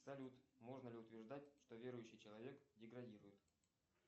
салют можно ли утверждать что верующий человек деградирует